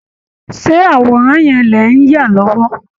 Ṣé àwòrán yẹn lẹ̀ ń yà lọ́wọ́?